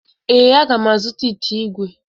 Ee, aga m azụta ite igwe.